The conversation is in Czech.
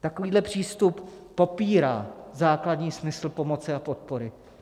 Takovýto přístup popírá základní smysl pomoci a podpory.